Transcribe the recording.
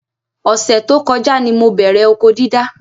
Ọ̀sẹ̀ tó kọjá ni mo bẹ̀rẹ̀ oko dídá